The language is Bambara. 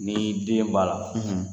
Ni den b'a la ,.